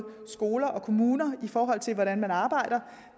skoler og kommuner i forhold til hvordan man arbejder